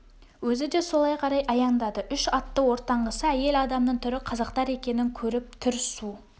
өзі де солай қарай аяңдады үш атты ортаңғысы әйел адамның түрі қазақтар екенін көріп түр су